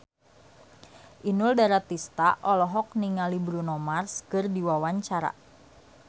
Inul Daratista olohok ningali Bruno Mars keur diwawancara